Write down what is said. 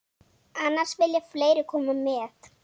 Annars vilja fleiri koma með.